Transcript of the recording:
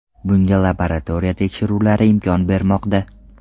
Bunga laboratoriya tekshiruvlari imkon bermoqda.